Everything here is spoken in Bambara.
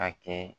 A kɛ